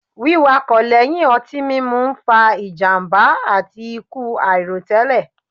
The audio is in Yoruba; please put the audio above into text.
Wíwakọ̀ lẹ́yìn ọtí mímu ń fa ìjàmbá àti ikú àìròtẹ́lẹ̀